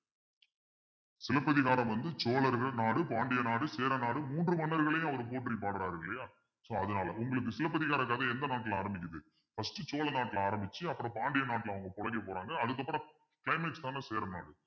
சிலப்பதிகாரம் வந்து சோழர்கள் நாடு பாண்டிய நாடு சேர நாடு மூன்று மன்னர்களையும் அவர் போற்றி பாடுறார் இல்லையா so அதனால உங்களுக்கு சிலப்பதிகாரக் கதை எந்த நாட்டுல ஆரம்பிக்குது first சோழ நாட்டுல ஆரம்பிச்சு அப்புறம் பாண்டிய நாட்டுல அவங்க பிழைக்க போறாங்க அதுக்கப்புறம் climax தானே சேரநாடு